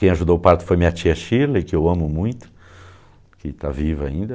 Quem ajudou o parto foi minha tia Shirley, que eu amo muito, que está viva ainda.